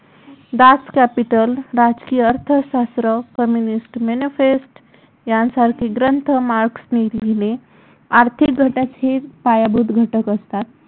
Das Kapital, राजकीय अर्थशास्त्र, communist, manifesto यांसारखे ग्रंथ मार्क्स ने लिहिले. आर्थिक घटक हेच पायाभूत घटक असतात.